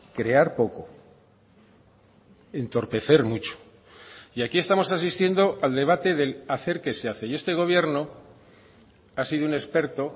crear poco entorpecer mucho y aquí estamos asistiendo al debate del hacer que se hace y este gobierno ha sido un experto